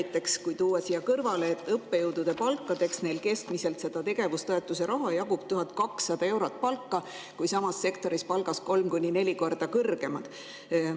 Toon siia kõrvale näite, et tegevustoetuse raha jagub õppejõudude palkadeks, et keskmine palk on 1200 eurot, aga samas sektoris on palgad kolm kuni neli korda kõrgemad.